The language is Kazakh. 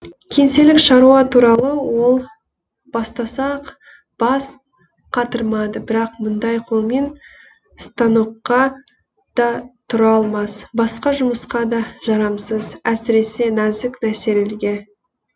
кеңселік шаруа туралы ол бастасақ бас қатырмады бірақ мұндай қолмен станокқа да тұра алмас басқа жұмысқа да жарамсыз әсіресе нәзік нәрселерге